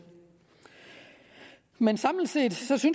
men samlet set synes vi